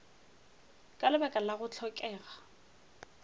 ka lebaka la go hlokega